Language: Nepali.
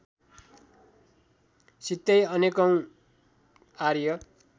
सितै अनेकौँ आर्य